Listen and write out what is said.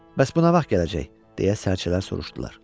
Bəs bu nə vaxt gələcək, deyə sərçələr soruşdular.